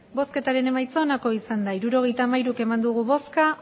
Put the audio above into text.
hirurogeita hamairu eman dugu bozka